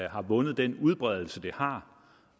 har vundet den udbredelse det har